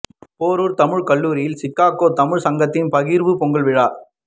பேரூா் தமிழ் கல்லூரியில் சிகாகோ தமிழ் சங்கத்தின் பகிா்வு பொங்கல் விழா